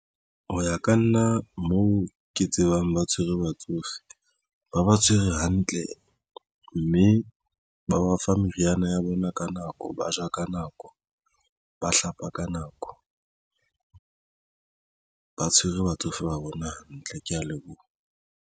Ho ya ka nna moo ke tsebang ba tshwere batsofe ba ba tshwere hantle mme ba ba fa meriana ya bona ka nako, ba ja ka nako, ba hlapa ka nako, ba tshwere batsofe ba bona hantle. Ke ya leboha.